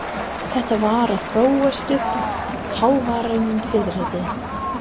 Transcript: Þetta var að þróast uppí hávaðarifrildi.